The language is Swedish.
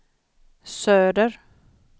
söder